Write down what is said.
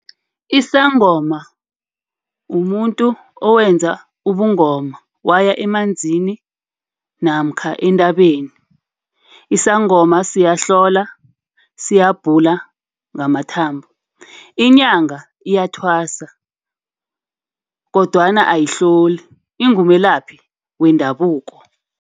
Isangoma umuntu owenza ubungoma, waya emanzi namkha entabeni. Isangoma siyahlola, siyabhula ngamathambo. Inyanga iyathwasa kodwana ayihloli, ingumelaphi wendabuko.